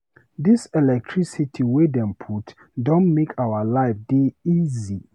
Dis electricity wey dem put don make our life dey easy.